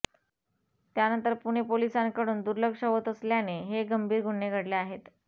त्याकडे पुणे पोलिसांकडून दुर्लक्ष होत असल्याने हे गंभीर गुन्हे घडले आहेत